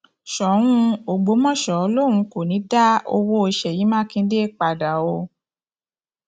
ṣòun ọgbọmọṣẹ lòun kò ní í dá owó ṣèyí mákindè ṣèyí mákindè padà o